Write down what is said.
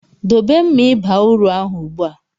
Dobe mma ịba uru ahụ ugbu a!